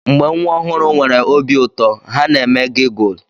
Mgbe nwa ọhụrụ nwere obi ụtọ, ha na-eme gigulu.